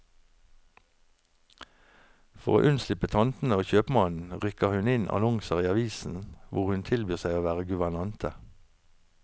For å unnslippe tantene og kjøpmannen, rykker hun inn annonser i avisen hvor hun tilbyr seg å være guvernante.